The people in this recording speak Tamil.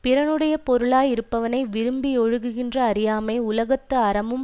பிறனுடைய பொருளாயிருப்பவளை விரும்பி யொழுகுகின்ற அறியாமை உலகத்து அறமும்